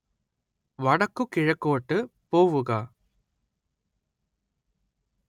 വടക്കുകിഴക്കോട്ട് പോവുക